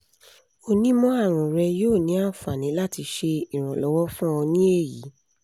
onimọ-arun rẹ yoo ni anfani lati ṣe iranlọwọ fun ọ ni eyi